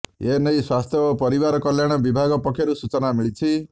ଏନେଇ ସ୍ୱାସ୍ଥ୍ୟ ଓ ପରିବାର କଲ୍ୟାଣ ବିଭାଗ ପକ୍ଷରୁ ସୂଚନା ମିଳିଛି